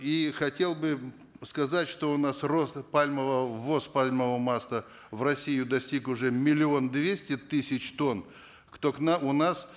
и хотел бы сказать что у нас рост пальмового ввоз пальмового масла в россию достиг уже миллион двести тысяч тонн кто к нам у нас